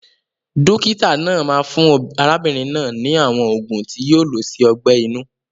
Dókítà náà máa fún arábínrin náà ni àwon ògùn ti yio lo si ogbẹ̀ inú